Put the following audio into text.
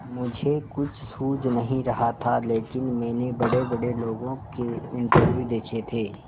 मुझे कुछ सूझ नहीं रहा था लेकिन मैंने बड़ेबड़े लोगों के इंटरव्यू देखे थे